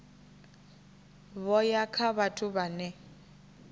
vho ya kha vhathu vhane